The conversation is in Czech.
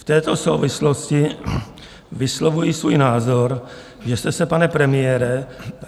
V této souvislosti vyslovuji svůj názor, že jste se, pane premiére...